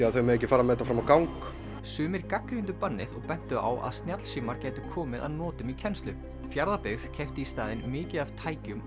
að þau mega ekki fara með þetta fram á gang sumir gagnrýndu bannið og bentu á að snjallsímar gætu komið að notum í kennslu Fjarðabyggð keypti í staðinn mikið af tækjum